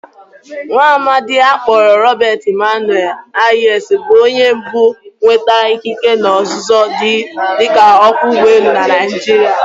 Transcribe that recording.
Nwaamadi a kpọrọ Robert Emmanuel Hayes bụ onye mbụ nwetara ịkịke na ọzụzụ dika ọkwọ ụgbọelu na Naijiria.